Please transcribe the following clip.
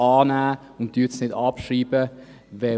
Nehmen Sie sie an und schreiben Sie sie nicht ab.